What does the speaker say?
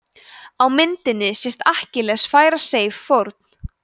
á myndinni sést akkilles færa seif fórn